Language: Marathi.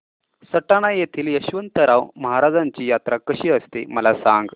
सटाणा येथील यशवंतराव महाराजांची यात्रा कशी असते मला सांग